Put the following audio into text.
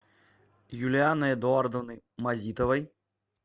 юлианой эдуардовной мазитовой